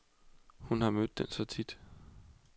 Hun har mødt den så tit.